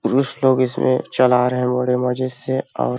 पुरुष लोग इसमें चला रहे है बड़े मजे से और--